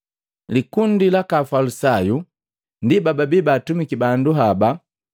Likundi laka Afalisayu ndi bababii baatumiki bandu haba,